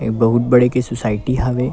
ए बहुत बड़े के सोसाइटी हवे।